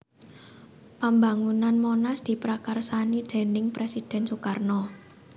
Pambangunan Monas diprakarsani déning Presiden Soekarno